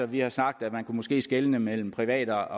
vi har sagt at man måske kunne skelne mellem private